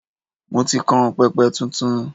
Mo ti kan pẹpẹ tuntun.